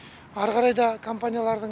ары қарай да компаниялардың